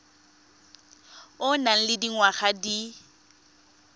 o nang le dingwaga di